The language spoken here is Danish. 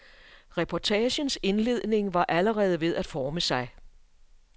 Reportagens indledning var allerede ved at forme sig.